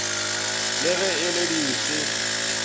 le ge e le dife